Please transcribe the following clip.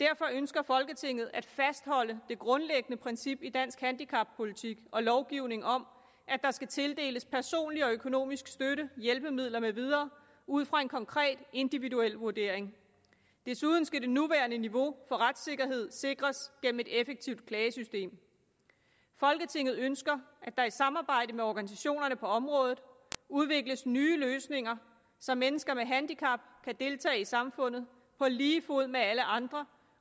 derfor ønsker folketinget at fastholde det grundlæggende princip i dansk handicappolitik og lovgivning om at der skal tildeles personlig og økonomisk støtte hjælpemidler med videre ud fra en konkret individuel vurdering desuden skal det nuværende niveau for retssikkerhed sikres gennem et effektivt klagesystem folketinget ønsker at der i samarbejde med organisationerne på området udvikles nye løsninger så mennesker med handicap kan deltage i samfundet på lige fod med alle andre